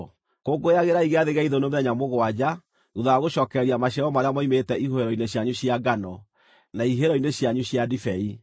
Kũngũyagĩrai Gĩathĩ gĩa Ithũnũ mĩthenya mũgwanja thuutha wa gũcookereria maciaro marĩa moimĩte ihuhĩro-inĩ cianyu cia ngano, na ihihĩro-inĩ cianyu cia ndibei.